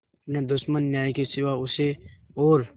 न दुश्मन न्याय के सिवा उसे और